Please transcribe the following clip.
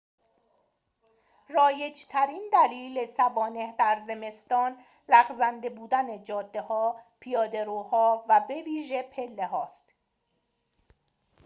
رایج‌ترین دلیل سوانح در زمستان لغزنده بودن جاده‌ها پیاده‌روها و بویژه پله‌هاست